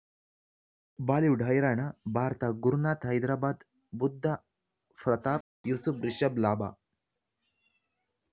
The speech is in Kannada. ಬಾಲಿವುಡ್ ಹೈರಾಣ ಭಾರತ ಗುರುನಾಥ ಹೈದರಾಬಾದ್ ಬುದ್ದ ಪ್ರತಾಪ್ ಯೂಸುಫ್ ರಿಷಬ್ ಲಾಭ